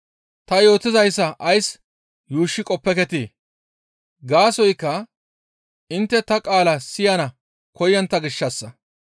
Ta yootizayssa ays yuushshi qoppeketii? Gaasoykka intte ta qaala siyana koyontta gishshassa.